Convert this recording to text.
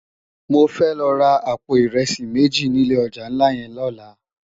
Mó fè lò rá àpó irèsi méji ni ilé òjá nlá yèn lòlá